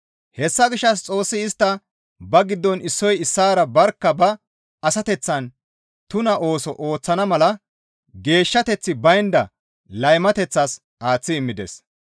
Hessa gishshas Xoossi istta ba giddon issoy issaara barkka ba asateththaan tuna ooso ooththana mala geeshshateththi baynda laymateththas aaththi immides.